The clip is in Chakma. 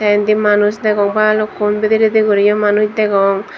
tey indi manus degong balukkun bidirediguriyo manuj degong.